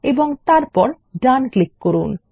এবং তারপর ডান ক্লিক করুন